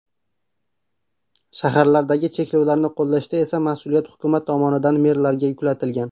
Shaharlardagi cheklovlarni qo‘llashda esa mas’uliyat hukumat tomonidan merlarga yuklatilgan.